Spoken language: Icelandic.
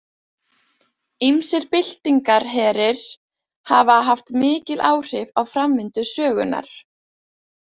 Ýmsir byltingarherir hafa haft mikil áhrif á framvindu sögunnar.